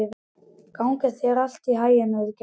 Gangi þér allt í haginn, Auðgeir.